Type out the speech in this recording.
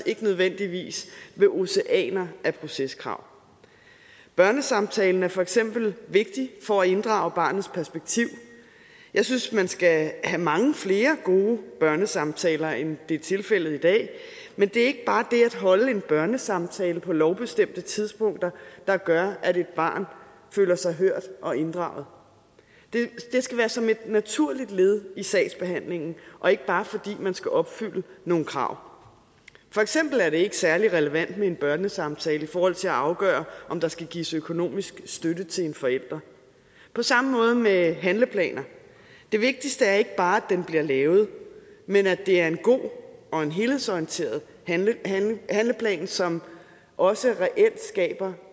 ikke nødvendigvis ved oceaner af proceskrav børnesamtalen er for eksempel vigtig for at inddrage barnets perspektiv jeg synes man skal have mange flere gode børnesamtaler end det er tilfældet i dag men det er ikke bare det at holde en børnesamtale på lovbestemte tidspunkter der gør at et barn føler sig hørt og inddraget det skal være som et naturligt led i sagsbehandlingen og ikke bare fordi man skal opfylde nogle krav for eksempel er det ikke særlig relevant med en børnesamtale i forhold til at afgøre om der skal gives økonomisk støtte til en forælder på samme måde med handleplaner det vigtigste er ikke bare at den bliver lavet men at det er en god og en helhedsorienteret handleplan som også reelt skaber